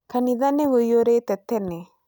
Kanitha nĩ ũiyũrĩte tene